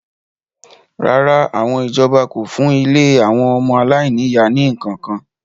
rárá, àwọn ìjọba kò fún ilé àwọn ọmọ aláìní-ìyá ní ǹkan kan